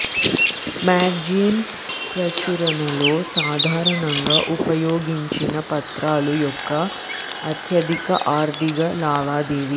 magazine ప్రచురణలో సాధారణంగా ఉపయోగించిన పత్రాల యొక్క అత్యధిక ఆర్ధిక లావాదేవి